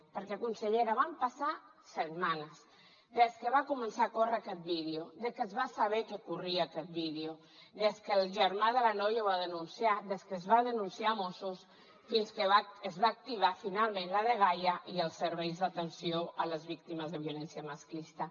perquè consellera van passar setmanes des que va començar a córrer aquest vídeo que es va saber que corria aquest vídeo des que el germà de la noia ho va denunciar des que es va denunciar a mossos fins que es va activar finalment la dgaia i els serveis d’atenció a les víctimes de violència masclista